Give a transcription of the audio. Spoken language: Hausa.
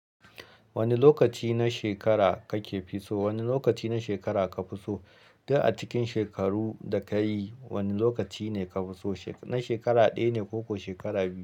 Wane lokaci na shekara kake fi so? Wane lokaci na shekara ka fi so? Duk a cikin shekaru da ka yi wane lokaci ne ka fi so? Na shekara ɗaya ne ko kuwa shekara biyu?